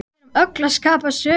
Við erum öll að skapa sögu.